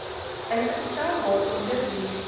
ingestel waaronder dienste